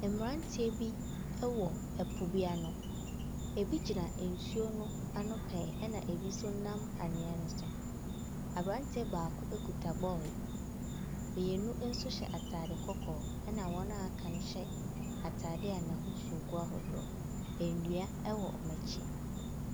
Mmranteɛ bi ɛwɔ ɛpo bi ano. Ebi gyina nsuo no ano pɛɛ. Ɛna ebi so nam anwea no so. Abranteɛ baako ekita bɔɔl. Mmienu nso hyɛ ataade kɔkɔɔ. Ɛna wɔn a aka no hyɛ ataade a n'ahosuo gu ahodoɔ. Nnua ɛwɔ ɔmo akyi.